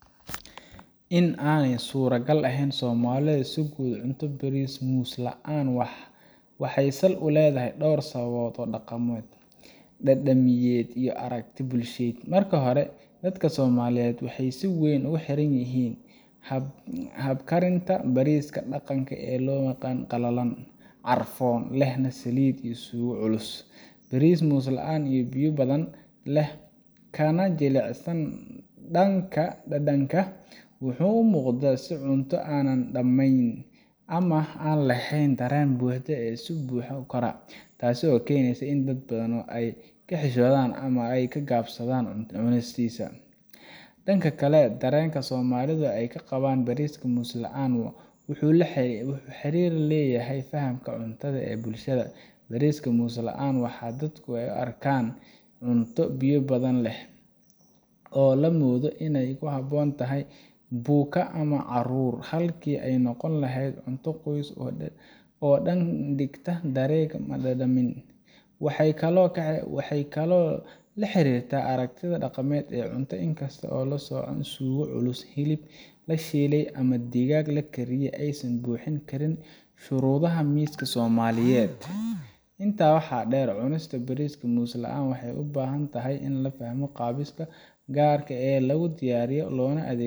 In aanay suuragal ahayn in Soomaalidu si guud u cunto bariiska muslaan waxay sal u leedahay dhowr sababood oo dhaqameed, dhadhamiyeed, iyo aragti bulsheed. Marka hore, dadka Soomaaliyeed waxay si weyn ugu xiran yihiin habkarinta bariiska dhaqanka ah oo ah mid qalalan, carfoon, lehna saliid iyo suugo culus. Bariiska muslaan, oo biyo badan leh kana jilicsan dhanka dhadhanka, wuxuu u muuqdaa sida cunto aan dhammayn ama aan laheyn dareen buuxa oo af buuxin kara, taasoo keeneysa in dad badan ay ka xishoodaan ama ka gaabsadaan cunistiisa. Dhanka kale, dareenka Soomaalidu ay ka qabaan bariiska muslaan wuxuu xiriir la leeyahay fahamka cuntada ee bulshada. Bariiska muslaan waxaa dadku u arkaan cunto “biyo badan leh” oo la moodo inay ku habboon tahay buka ama caruur, halkii ay noqon lahayd cunto qoyska oo dhan ka dhigta dhereg iyo dhadhamiin. Waxay kaloo la xiriirtaa aragti dhaqameed ah in cunto kasta oo aan la socon suugo culus, hilib la shiilay ama digaag la kariyay aysan buuxin karin shuruudaha miiska Soomaaliyeed. Intaa waxaa dheer, cunista bariiska muslaan waxay u baahan tahay in la fahmo qaabkiisa gaar ah ee lagu diyaariyo loona adeegsado